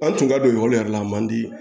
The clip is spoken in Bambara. An tun ka don ekɔli yɛrɛ la a man di